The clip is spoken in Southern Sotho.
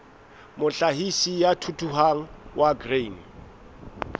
mohlahisi ya thuthuhang wa grain